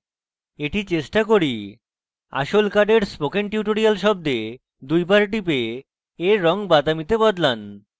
এটি চেষ্টা করি আসল card spoken tutorial শব্দে দুইবার টিপে এর রঙ বাদামী তে বদলান